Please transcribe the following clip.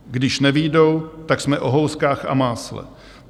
Když nevyjdou, tak jsme o houskách a másle.